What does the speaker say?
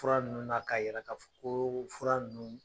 Fura nunnu na k'a yira k'a fɔ koo fura nunnu